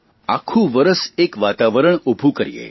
આખું વરસ એક વાતાવરણ ખડું કરીએ